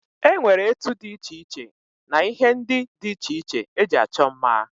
E nwere etu dị iche iche na ihe ndị iche iche e ji achọ mma.